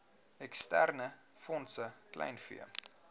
eksterne fondse kleinvee